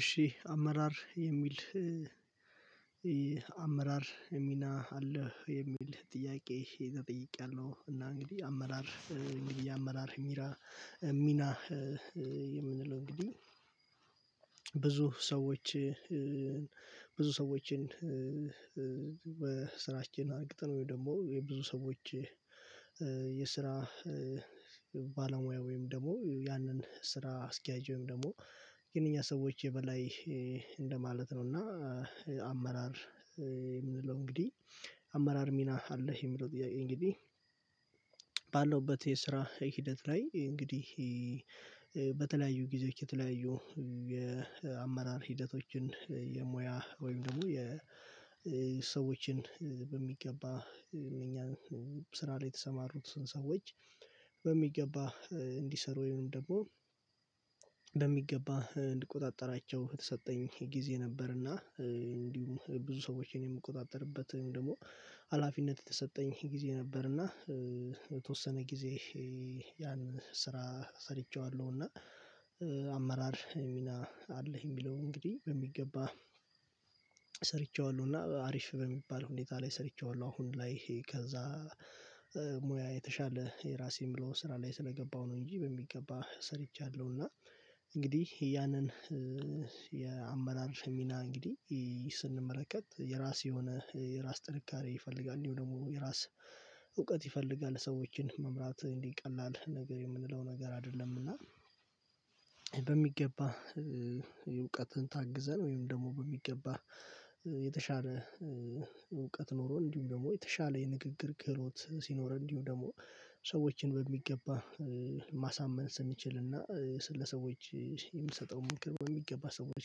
እሺ አመራር የሚል አመራር ሚና አለህ የሚል ጥያቄ ተጠይቄያለሁ እና እንግዲህ አመራር እንግዲህ አመራር ሚራ የምንለው እንግዲ ብዙ ሰዎች ብዙ ሰዎችን በስራችን አርግተን ወይ ደሞ የብዙ ሰዎች የስራ ባለሙያ ወይም ደሞ ያንን ስራ አስኪያጅ ወይም ደሞ የነኛ ሰዎች የበላይ እንደማለት ነው እና አመራር የምንለው እንግዲ አመራር ሚና አለህ የሚለው ጥያቄ? እንግዲ ባለውበት የስራ ሂደት ላይ እንግዲህ በተለያዩ ጊዜዎች የተለያዩ የአመራር ሂደቶችን የሙያ ወይም ደሞ የሰዎችን በሚገባ እኛን ስራ ላይ የተሰማሩት ሰዎች በሚገባ እንዲሰሩ ወይም ደግሞ በሚገባ እንድቆጣጠራቸው የተሰጠኝ ጊዜ ነበርና እንዲሁም ብዙ ሰዎችን የምቆጣጠርበት ወይም ደሞ ሀላፊነት የተሰጠኝ ጊዜ ነበርና የተወሰነ ጊዜ ያን ስራ ሰርቼዋለው። እና አመራር ሚና አለህ የሚለው እንግዲ በሚገባ ሰርቼዋለው እና አሪፍ በሚባል ሁኔታ ላይ ሰርቼዋለው። አሁን ላይ ከዛ ሙያ የተሻለ የራሴ ምለው ስራ ላይ ስለገባው ነው። እንጂ በሚገባ ሰርቻለው እና እንግዲህ ያንን የአመራር ሚና እንግዲ ስንመለከት የራስ የሆነ የራስ ጥንካሬ ይፈልጋል እንዲውም ደሞ የራስ እውቀት ይፈልጋል ሰዎችን መምራት እንዲ ቀላል ነገር የምንለው ነገር አደለምና። በሚገባ እውቀትን ታግዘን ወይም ደሞ በሚገባ የተሻለ እውቀት ኖሮ እንዲውም ደሞ የተሻለ የንግግር ክህሎት ሲኖር እንዲውም ደሞ ሰዎችን በሚገባ ማሳመን ስንችልና ስለሰዎች የሚሰጠው ምክር በሚገባ ሰዎች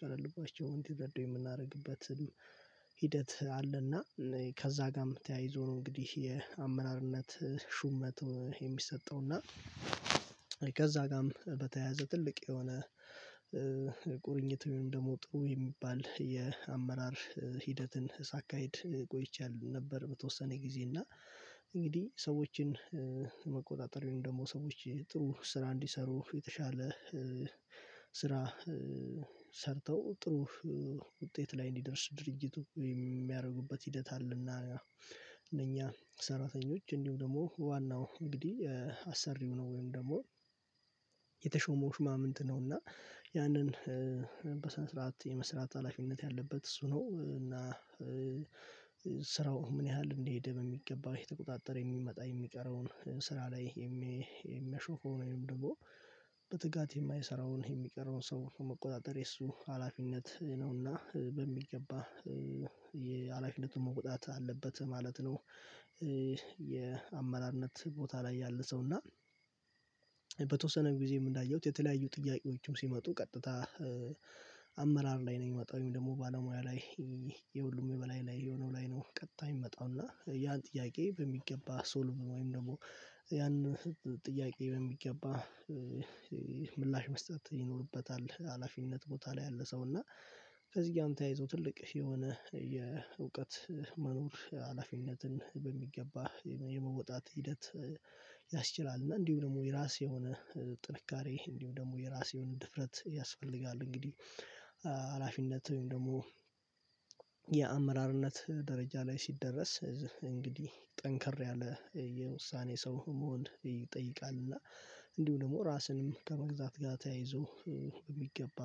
ቀለል ብሏቸው እንዲረዱ የምናረግበትም ሂደት አለና ከዛ ጋም ተያይዞ ነው። እንግዲህ የአመራርነት ሹመትም የሚሰጠው እና ከዛ ጋም በተያያዘ ትልቅ የሆነ ቁርኝት ወይም ደሞ ጥሩ የሚባል የአመራር ሂደትን ሳካሂድ ቆይቻል ነበር። በተወሰነ ጊዜ እና እንግዲ ሰዎችን መቆጣጠር ወይም ደሞ ሰዎች ጥሩ ስራ እንዲሰሩ የተሻለ ስራ ሰርተው ጥሩ ውጤት ላይ እንዲደርስ ድርጅቱ የሚያረጉበት ሂደት አለና። እኛ ሰራተኞች እንዲውም ደሞ ዋናው እንግዲ አሰሪው ነው ወይም ደሞ የተሾመው ሹማምንት ነውና ያንን በስነስርዓት የመስራት ሀላፊነት ያለበት እሱ ነው። እና ስራው ምን ያህል እንደሄደ በሚገባ እየተቆጣጠር የሚመጣ የሚቀረውን ስራ ላይ የሚያሾፈውን ወይም ደሞ በትጋት የማይሰራውን የሚቀረውን ሰው መቆጣጠር የሱ ሀላፊነት ነውና በሚገባ የሀላፊነቱን መቆጣጠር አለበት ማለት ነው። የአመራርነት ቦታ ላይ ያለ ሰው እና በተወሰነ ጊዜም እንዳየውት የተለያዩ ጥያቄዎችም ሲመጡ ቀጥታ አመራር ላይ ነው ሚመጣው ወይም ደሞ ባለሙያ ላይ ይሄ የሁሉም የበላይ ላይ የሆነው ላይ ነው ቀጥታ የሚመጣው እና ያን ጥያቄ በሚገባ ሶልቭ ወይም ደሞ ያን ጥያቄ በሚገባ ምላሽ መስጠት ይኖርበታል። ሀላፊነት ቦታ ላይ ያለ ሰው እና ከዚ ጋም ተያይዞ ትልቅ የሆነ የእውቀት መኖር ሀላፊነትን በሚገባ የመወጣት ሂደት ያስችላል። እና እንዲውም ደሞ የራስ የሆነ ጥንካሬ እንዲውም ደሞ የራስ የሆነ ድፍረት ያስፈልጋል። እንግዲ አላፊነት ወይም ደሞ የአመራርነት ደረጃ ላይ ሲደረስ እንግዲህ ጠንከር ያለ የውሳኔ ሰው መሆን ይጠይቃል። እና እንዲውም ደሞ ራስንም ከመግዛት ጋ ተያይዞ ሚገባ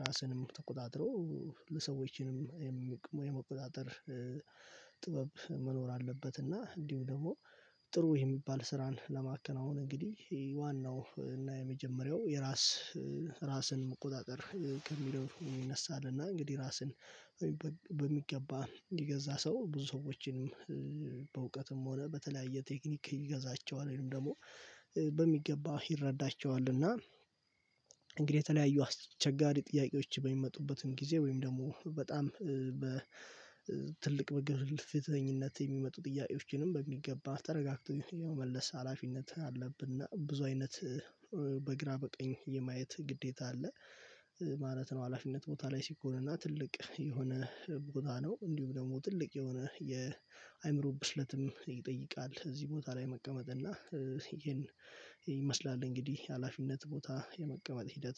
ራስንም ተቆጣጥሮ ለሰዎችንም የመቆጣጠር ጥበብ መኖር አለበት። እና እንዲውም ደሞ ጥሩ የሚባል ስራን ለማከናወን እንግዲህ ዋናው እና የመጀመሪያው የራስ ራስን መቆጣጠር ከሚለው ይነሳል። እና እንግዲ ራስን በሚገባ የገዛ ሰው ብዙ ሰዎችንም በእውቀትም ሆነ በተለያየ ቴክኒክ ይገዛቸዋል ወይም ደሞ በሚገባ ይረዳቸዋል። እና እንግዴ የተለያዩ አስቸጋሪ ጥያቄዎች በሚመጡበትም ጊዜ ወይም ደሞ በጣም በ ትልቅ ወይ ግልፍተኝነት የሚመጡ ጥያቄዎችንም በሚገባ ተረጋግቶ የመመለስ ሀላፊነት አለብንና ብዙ አይነት በግራ በቀኝ የማየት ግዴታ አለ ማለት ነው። ሀላፊነት ቦታ ላይ ሲኮንና ትልቅ የሆነ ቦታ ነው እንዲውም ደሞ ትልቅ የሆነ የአይምሮ ብስለትም ይጠይቃል። እዚ ቦታ ላይ መቀመጥ እና ይሄን ይመስላል እንግዲህ ሀላፊነት ቦታ የመቀመጥ ሂደት